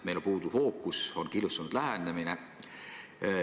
Meil puudub fookus, on killustatud lähenemine.